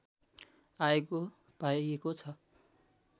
आएको पाइएको छ